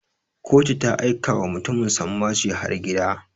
Kotu ta aika wa mutumin sanmaci har gida.